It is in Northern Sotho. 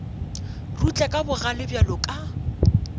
rutla ka bogale bjalo ka